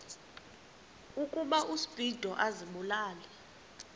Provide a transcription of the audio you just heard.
ukuba uspido azibulale